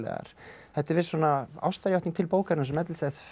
þetta er viss svona ástarjátning til bókarinnar sem efnislegs